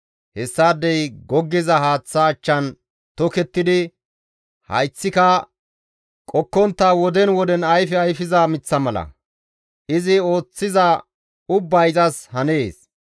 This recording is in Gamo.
Hessaadey goggiza haaththa achchan tokettidi, hayththika qokkontta woden woden ayfe ayfiza miththa mala; izi ooththiza ubbay izas hanees.